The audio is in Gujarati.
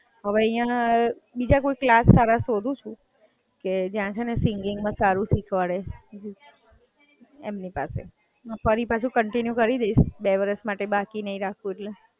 હવે અહિયાં, બીજા કોઈ ક્લાસ સારા શોધું છું, કે જ્યાં છે ને સિંગિંગ માં સારી શીખવાડે એમની પાસે. ફરી પાછું કંટિન્યૂ કરી દઇશ, બે વર્ષ માટે બાકી નહીં રાખવું એટલે.